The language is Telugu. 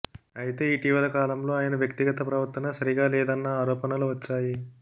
అయితే ఇటీవల కాలంలో ఆయన వ్యక్తిగత ప్రవర్తన సరిగా లేదన్న ఆరోపణలు వచ్చాయి